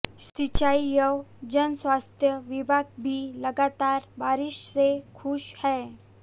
सिंचाई एवं जनस्वास्थ्य विभाग भी लगातार बारिश से खुश है